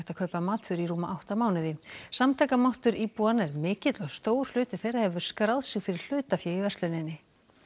kaupa matvöru í rúma átta mánuði samtakamáttur íbúanna er mikill og stór hluti þeirra hefur skráð sig fyrir hlutafé í versluninni